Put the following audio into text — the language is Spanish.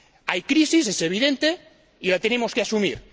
Hay crisis, es evidente, y la tenemos que asumir.